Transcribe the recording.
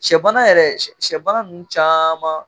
Sɛbana yɛrɛ sɛbana ninnu caman